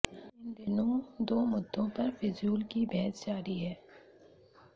इन दिनों दो मुद्दों पर फिजूल की बहस जारी है